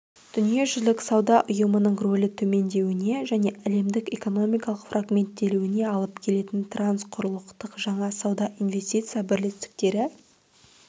дүниежүзілік сауда ұйымының рөлі төмендеуіне және әлемдік экономиканың фрагменттелуіне алып келетін трансқұрылықтық жаңа сауда-инвестиция бірлестіктері